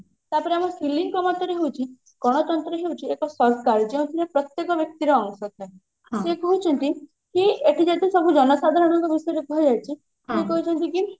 ତାପରେ ଆମ ସିଲିଙ୍କ ମତରେ ହଉଛି ଗଣତନ୍ତ୍ର ହଉଛି ଏକ ସରକାର ଯେଉଁଥିରେ ପ୍ରତ୍ୟକ ବ୍ଯକ୍ତିର ଅଂଶ ଥାଏ ସେ କହୁଛନ୍ତି କି ଏଠି ଯଦି ସବୁ ଜନସାଧାରଣ ଙ୍କ ବିଷୟରେ କୁହାଯାଉଛି କହୁଛନ୍ତି କି